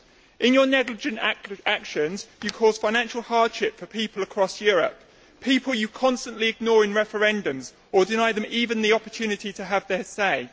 In your negligent actions you cause financial hardship for people across Europe, people you constantly ignore in referendums. You deny them even the opportunity to have their say.